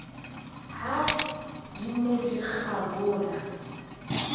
ha di ne di kgabola